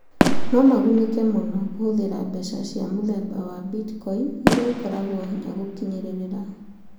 No magunĩka mũno kũhũthĩra mbeca cia mũthemba wa Bitcoin ĩrĩa ĩkoragwo hinya gũkinyĩrĩra.